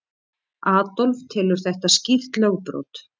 Adolf telur þetta skýrt lögbrot.